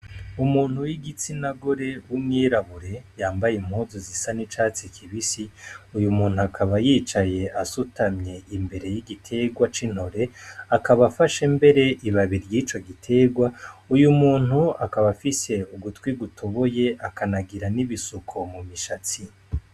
Umuntu w'igitsinagore w'umwirabure yambaye impuzu zisa n'icatsi kibisi, uwo muntu akaba yicaye asutamye imbere y'igiterwa c'intore, akaba afashe mbere ibabi ry'ico giterwa, uyo muntu akaba afise ugutwi gutoboye akanagira n' ibisuko mu mishatsi.